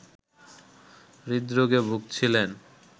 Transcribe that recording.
হৃদরোগে ভুগছিলেন